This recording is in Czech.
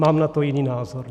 Mám na to jiný názor.